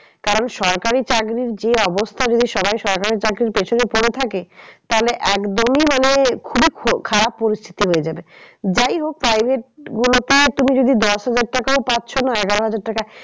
কারণ সরকারি চাকরির যে অবস্থা যদি সবাই সরকারি চাকরির পেছনে পরে থাকে তাহলে একদমই মানে খুবই খারাপ পরিস্থিতি হয়ে যাবে। যাই হোক private গুলোতে তুমি যদি দশ হাজার টাকাও পাচ্ছ না এগারো হাজার টাকা